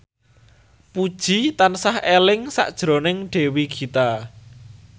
Puji tansah eling sakjroning Dewi Gita